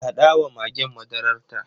Haɗa wa magen madararta.